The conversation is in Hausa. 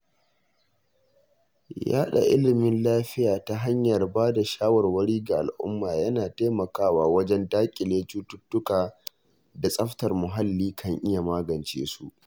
Yaɗa ilimin lafiya ta hanyar ba da shawarwari ga al’umma yana taimakawa wajen daƙile cututtukan da tsaftar muhalli kan iya magance su.